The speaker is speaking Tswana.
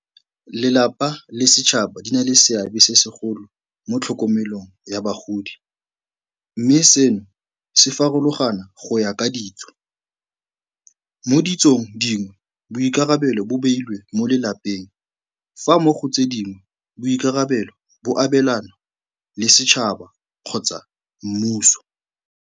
Lelapa le setšhaba di na le seabe se segolo mo tlhokomelong ya bagodi mme seno se farologana go ya ka ditso. Mo ditsong dingwe, boikarabelo bo beilwe mo lelapeng, fa mo go tse dingwe boikarabelo bo abelanwa le setšhaba kgotsa mmuso.